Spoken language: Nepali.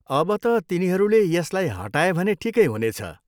अब त तिनीहरूले यसलाई हटाए भने ठिकै हुनेछ।